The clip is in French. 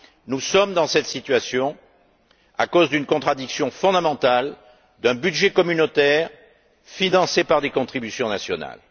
Nous sommes dans cette situation à cause d'une contradiction fondamentale d'un budget communautaire financé par des contributions nationales.